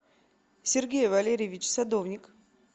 сергей валерьевич садовник